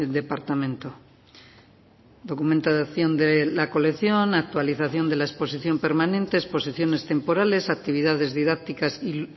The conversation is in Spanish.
departamento documento de acción de la colección actualización de la exposición permanente exposiciones temporales actividades didácticas y